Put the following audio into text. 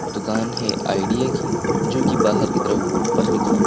दुकान है आइडिया की जो कि बाहर की तरफ बोर्ड पर लिखा --